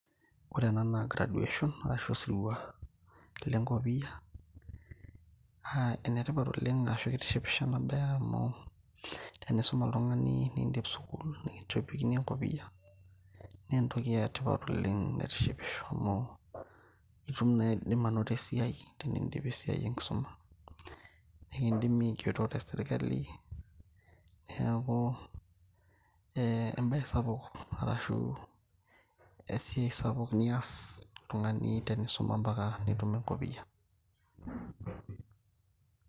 ore ena naa graduation arashu osirua lenkopiyia uh, enetipat oleng ashu kitishipisho ena baye amu tenisuma oltung'ani nindip sukul nikinchopokini enkopiyia naa entoki etipat oleng naitishipisho amu itum naa aidim anoto esiai tenindip esiai enkisuma nikindimi aigero tesirkali neaku eh, embaye sapuk arashu esiai sapuk nias oltung'ani tenisuma mpaka nitum enkopiyia.